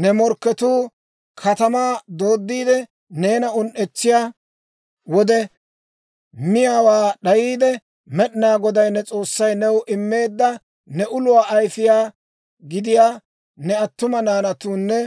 «Ne morkketuu katamaa dooddiide neena un"etsiyaa wode, miyaawaa d'ayaade, Med'inaa Goday ne S'oossay new immeedda, ne uluwaa ayfiyaa gidiyaa, ne attuma naanatuunne